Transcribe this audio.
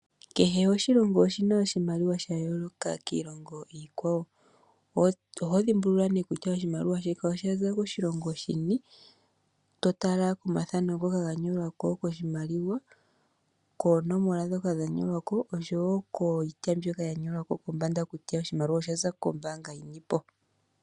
Kehe oshilongo oshi na oshimaliwa sha yooloka kiilongo iikwawo. Oho dhimbulula nee kutya oshimaliwa shika osha za koshilongo shini to tala komathano ngoka ga nyolwa ko koshimaliwa, koonomola ndhoka dha nyolwa ko oshowo iitya mbyoka ya nyolwa ko kombanda kutya oshimaliwa osha za kombaanga yini po.